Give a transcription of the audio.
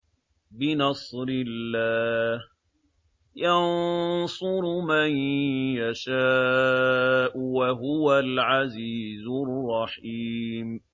بِنَصْرِ اللَّهِ ۚ يَنصُرُ مَن يَشَاءُ ۖ وَهُوَ الْعَزِيزُ الرَّحِيمُ